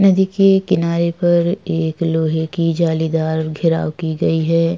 नदी के किनारे पर एक लोहे की जालीदार घेराव की गई हैं।